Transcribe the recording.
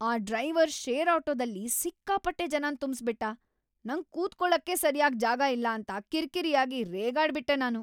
ಆ driver share ಆಟೋದಲ್ಲಿ ಸಿಕ್ಕಾಪಟ್ಟೆ ಜನನ್ ತುಂಬ್ಸ್‌ಬಿಟ್ಟ. ನಂಗ್ ಕೂತ್ಕೊಳ್ಳಕ್ಕೇ ಸರ್ಯಾಗ್ ಜಾಗ ಇಲ್ಲ ಅಂತ ಕಿರಿಕಿರಿಯಾಗಿ ರೇಗಾಡ್ಬಿಟ್ಟೆ ನಾನು.